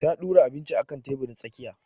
Ta ɗura abinci akan teburin tsakiya